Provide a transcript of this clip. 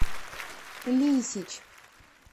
лисич